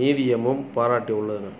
நிதியமும் பாராட்டியுள்ளன